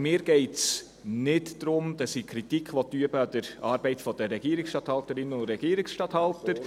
– Mir geht es nicht darum, Kritik an der Arbeit der Regierungsstatthalterinnen und Regierungsstatthalter zu üben.